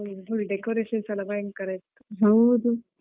ಹೌದು full decorations ಎಲ್ಲಾ ಭಯಂಕರ ಇರ್ತದೆ ಹಾಗೆ.